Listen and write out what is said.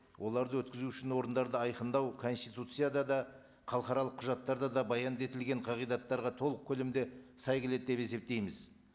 оларды өткізу үшін орындарды айқындау конституцияда да халықаралық құжаттарда да баянды етілген қағидаттарға толық көлемде сай келеді деп есептейтміз